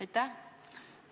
Aitäh!